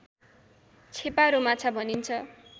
छेपारो माछा भनिन्छ